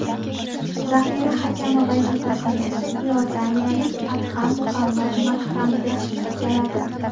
Zaxira hakami vazifasini esa iordaniyalik Adham Muhammad Makxamdeh bajaradi.